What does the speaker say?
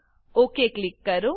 okay click કરો